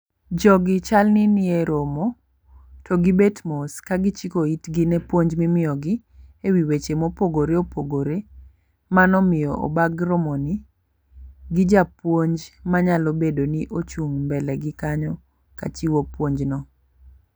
Jogi chal ni nie romo to gibet mos kagichiko itgi ne puonj mimiyo gi ewi weche mopogore opogore mano miyo obag romo ni gi japuonj manyalo bedo ni ochung' mbele gi kanyo kachiwo puonj no.